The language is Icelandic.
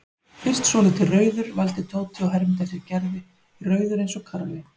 Fyrst svolítið rauður vældi Tóti og hermdi eftir Gerði, rauður eins og karfi.